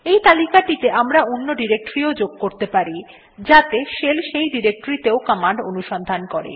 এই তালিকাটিতে আমরা অন্য ডিরেক্টরী ও যোগ করতে পারি যাতে শেল সেই ডিরেক্টরী তেও কমান্ড অনুসন্ধান করে